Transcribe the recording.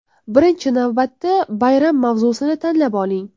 Birinchi navbatda bayram mavzusini tanlab oling.